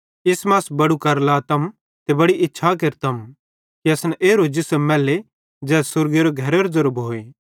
इस मां अस बड़ू कर लातम ते बड़ी इच्छा केरतम कि असन एरो जिसम मैले ज़ै स्वर्गेरे घरेरो ज़ेरो भोए